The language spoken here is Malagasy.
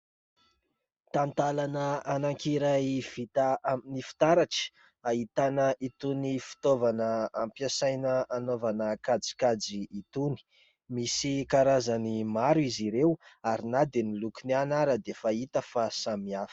Talantalana anankiray vita amin'ny fitaratra. Ahitana itony fitaovana ampiasaina hanaovana kajikajy itony. Misy karazany maro izy ireo; ary na dia ny lokony ihany ary dia hita fa samy hafa.